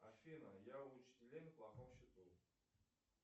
афина я у учителей на плохом счету